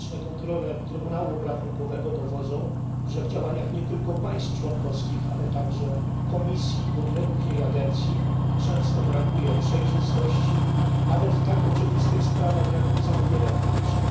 Liczne kontrole Trybunału Obrachunkowego dowodzą, że w działaniach nie tylko państw członkowskich, ale także Komisji i podległych jej agencji często brakuje przejrzystości, nawet w tak oczywistych sprawach jak zamówienia publiczne.